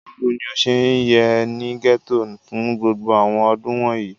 Bawo ni o ṣe ye ni gẹto fun gbogbo àwọn ọdun wọnyi?